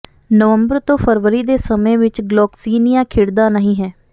ਨਵੰਬਰ ਤੋਂ ਫਰਵਰੀ ਦੇ ਸਮੇਂ ਵਿੱਚ ਗਲੌਕਸਿਨਿਆ ਖਿੜਦਾ ਨਹੀਂ ਹੈ